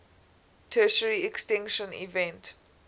tertiary extinction event